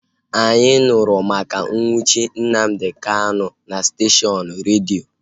Anyị nụrụ maka nnwuchi Nnamdi Kanu na steshọnụ redio